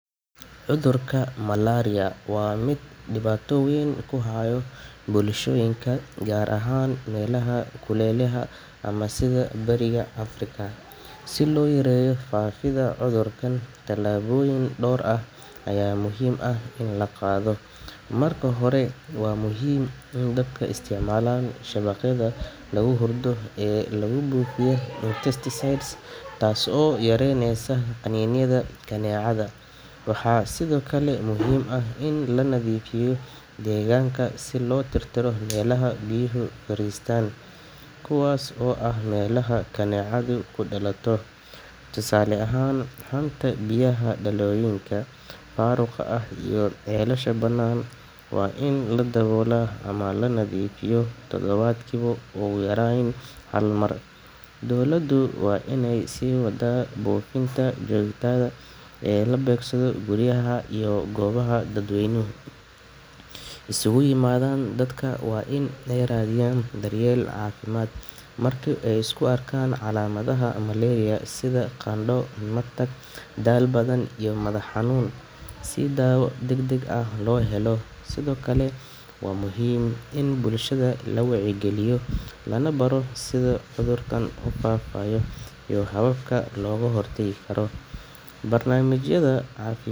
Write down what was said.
Cudurka malaria waa mid dhibaato weyn ku haya bulshooyinka gaar ahaan meelaha kuleylaha ah sida bariga Afrika. Si loo yareeyo faafidda cudurkan, tallaabooyin dhowr ah ayaa muhiim ah in la qaado. Marka hore, waa muhiim in dadka isticmaalaan shabaqyada lagu hurdo ee lagu buufiyay insecticide, taas oo yaraynaysa qaniinyada kaneecada. Waxaa sidoo kale muhiim ah in la nadiifiyo deegaanka, si loo tirtiro meelaha biyuhu fariistaan, kuwaas oo ah meelaha kaneecadu ku dhalato. Tusaale ahaan, haanta biyaha, dhalooyinka faaruqa ah, iyo ceelasha banaan waa in la daboolaa ama la nadiifiyaa todobaadkiiba ugu yaraan hal mar. Dowladdu waa inay sii waddaa buufinta joogtada ah ee la beegsado guryaha iyo goobaha dadweynuhu isugu yimaadaan. Dadka waa in ay raadiyaan daryeel caafimaad marka ay isku arkaan calaamadaha malaria sida qandho, matag, daal badan iyo madax xanuun, si daawo degdeg ah loo helo. Sidoo kale, waa muhiim in bulshada la wacyigeliyo, lana baro sida cudurkan u faafayo iyo hababka looga hortagi karo. Barnaamijyada caafi.